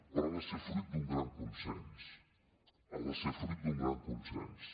però ha de ser fruit d’un gran consens ha de ser fruit d’un gran consens